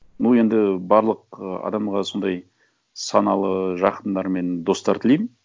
ну енді барлық ы адамға сондай саналы жақындар мен достар тілеймін